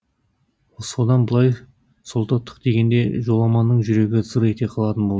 содан былай солдаттық дегенде жоламанның жүрегі зыр ете қалатын болды